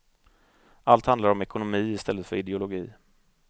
Allt handlar om ekonomi i stället för ideologi.